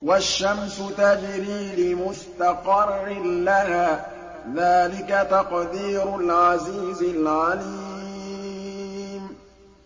وَالشَّمْسُ تَجْرِي لِمُسْتَقَرٍّ لَّهَا ۚ ذَٰلِكَ تَقْدِيرُ الْعَزِيزِ الْعَلِيمِ